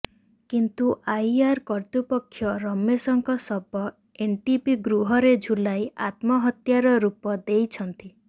କିନ୍ତୁ ଆଇଆର୍ଇ କର୍ତ୍ତୃପକ୍ଷ ରମେଶଙ୍କ ଶବ ଏନ୍ଟିପି ଗୃହରେ ଝୁଲାଇ ଆତ୍ମହତ୍ୟାର ରୁପ ଦେଉଛନ୍ତି